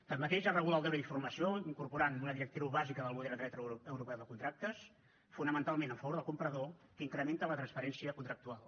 tanmateix es regula el deure d’informació incorporant una directriu bàsica del model de dret europeu de contractes fonamentalment a favor del comprador que incrementa la transparència contractual